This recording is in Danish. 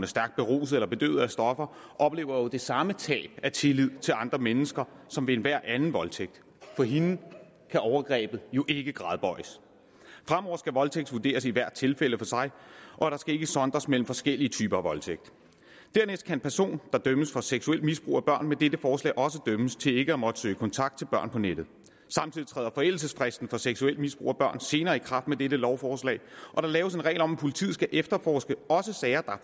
stærkt beruset eller bedøvet af stoffer oplever jo det samme tab af tillid til andre mennesker som ved enhver anden voldtægt for hende kan overgrebet jo ikke gradbøjes fremover skal voldtægt vurderes i hvert tilfælde for sig og der skal ikke sondres mellem forskellige typer af voldtægt dernæst kan en person der dømmes for seksuelt misbrug af børn med dette forslag også dømmes til ikke at måtte søge kontakt til børn på nettet samtidig træder forældelsesfristen for seksuelt misbrug af børn senere i kraft med dette lovforslag og der laves en regel om at politiet også skal efterforske sager der